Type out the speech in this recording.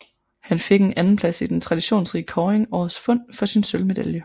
Han fik en andenplads i den traditionsrige kåring Årets Fund for sin sølvmedalje